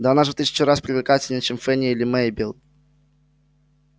да она же в тысячу раз привлекательней чем фэнни или мейбелл